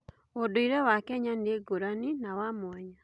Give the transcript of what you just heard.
Ũndũire wa Kenya nĩ ngũrani na wa mwanya.